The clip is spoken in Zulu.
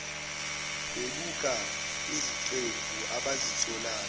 bebuka iziqephu abazitholayo